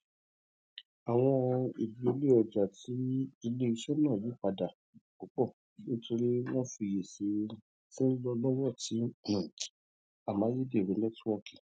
awọn idiyele ọja ti ileiṣẹ naa yipada pupọ nitori awọn ifiyesi ti nlọ lọwọ ti um amayederun nẹtiwọọki